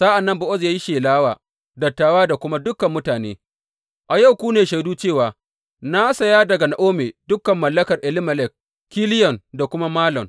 Sa’an nan Bowaz ya yi shela wa dattawa da kuma dukan mutane, A yau ku ne shaidu cewa na saya daga Na’omi dukan mallakar Elimelek, Kiliyon da kuma Malon.